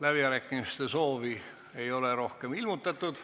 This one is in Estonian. Läbirääkimiste soovi ei ole rohkem ilmutatud.